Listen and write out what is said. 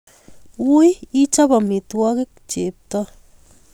Wii ichob omitwo'kik chepto